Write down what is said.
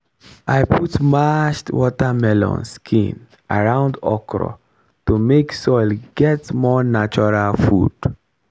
i put mashed watermelon skin around okra to make soil get more natural food.